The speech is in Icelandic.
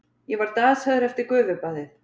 Ég var dasaður eftir gufubaðið.